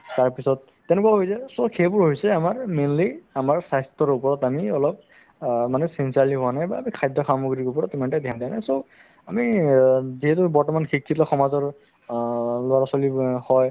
তাৰপিছত তেনেকুৱাকে হৈ যায় so সেইবোৰ হৈছে আমাৰ মিলি আমাৰ স্বাস্থ্য ৰোগত আমি অলপ অ মানে sincerely হোৱা নাই বা আমি খাদ্য সামগ্ৰীৰ ওপৰত ইমান এটা dhyan দিয়া নাই so আমি অ যিহেতু বৰ্তমান শিক্ষিত সমাজৰ অ ল'ৰা-ছোৱালিবোৰয়ে হয়